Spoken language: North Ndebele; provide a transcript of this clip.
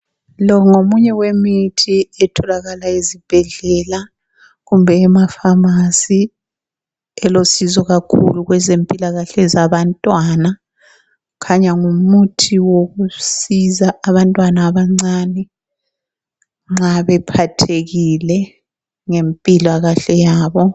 Lo ngomunye wemithi etholakala ezibhedlela kumbe emafamasi elosizo kakhulu kwezempilakahle zabantwana. Kukhanya ngumuthi wokusiza abantwana abancane nxa bephathekile ngempilakahle yabo.